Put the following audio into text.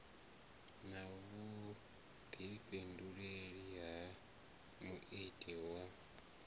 na vhuḓifhinduleli ha muiti wa